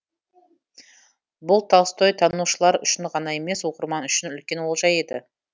бұл толстойтанушылар үшін ғана емес оқырман үшін үлкен олжа еді